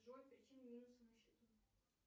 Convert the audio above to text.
джой причина минуса на счету